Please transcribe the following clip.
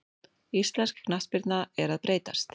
Íslensk knattspyrna er að breytast.